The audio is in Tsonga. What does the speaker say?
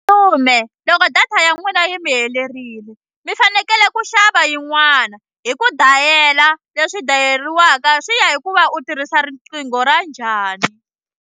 loko data ya n'wina yi mi helerile mi fanekele ku xava yin'wana hi ku dayela leswi dayeriwaka swi ya hi ku va u tirhisa riqingho ra njhani.